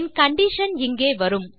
என் condition இங்கே வரும்